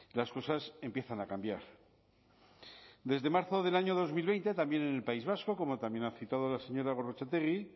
las cosas empiezan a cambiar desde marzo del año dos mil veinte también en el país vasco como también ha citado la señora gorrotxategi